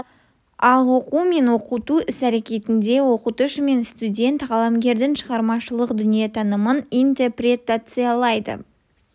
ал оқу мен оқыту іс әрекетінде оқытушы мен студент қаламгердің шығармашылқ дүниетанымын интерпретациялайды